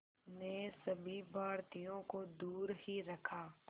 ने सभी भारतीयों को दूर ही रखा